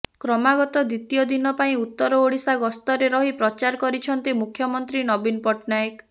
କ୍ରମାଗତ ଦ୍ବିତୀୟ ଦିନ ପାଇଁ ଉତ୍ତର ଓଡିଶା ଗସ୍ତରେ ରହି ପ୍ରଚାର କରିଛନ୍ତି ମୁଖ୍ୟମନ୍ତ୍ରୀ ନବୀନ ପଟ୍ଟନାୟକ